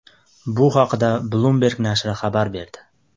Bu haqda Bloomberg nashri xabar berdi.